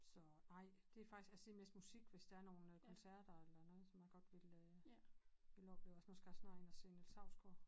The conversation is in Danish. Så nej det faktisk altså det er mest musik hvis der er nogle koncerter eller noget som jeg godt vil øh vil opleve nu skal jeg snart ind at se Niels Hausgaard